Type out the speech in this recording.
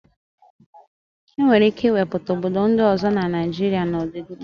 E nwere ike ịwepụta obodo ndị ọzọ na Naịjịrịa n'ọdịnihu.